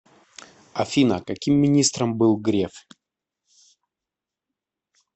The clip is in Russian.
афина каким министром был греф